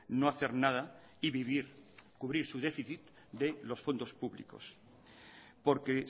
no hacer nada y vivir cubrir su déficit de los fondos públicos porque